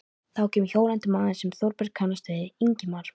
Þá kemur hjólandi maður sem Þórbergur kannast við, Ingimar